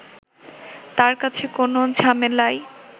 তার কাছে কোনো ঝামেলাই